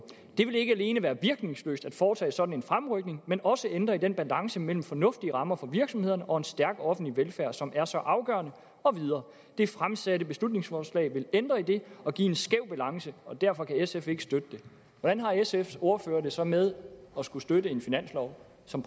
det vil ikke alene være virkningsløst at foretage sådan en fremrykning men også ændre i den balance mellem fornuftige rammer for virksomhederne og en stærk offentlig velfærd som er så afgørende og videre det fremsatte beslutningsforslag vil ændre i det og give en skæv balance og derfor kan sf ikke støtte det hvordan har sfs ordfører det så med at skulle støtte en finanslov som